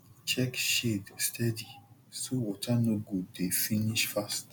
check shade steady so water no go dey finish fast